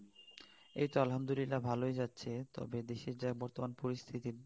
এইত আলহামদুলিল্লাহ ভালোই যাচ্ছে দেশের যা বর্তমান পরিস্থিতি